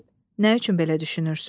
Nə üçün belə düşünürsüz?